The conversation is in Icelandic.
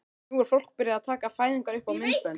Nú var fólk byrjað að taka fæðingar upp á myndbönd.